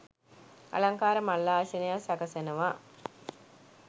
අලංකාර මල් ආසනයක් සකසනවා